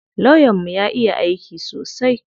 Lawyan mu ya iya aiki sosai.